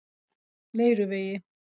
Leiruvegi